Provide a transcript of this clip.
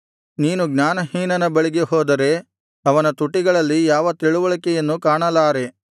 ನೀನು ಜ್ಞಾನಹೀನನ ಬಳಿಗೆ ಹೋದರೆ ಅವನ ತುಟಿಗಳಲ್ಲಿ ಯಾವ ತಿಳಿವಳಿಕೆಯನ್ನೂ ಕಾಣಲಾರೆ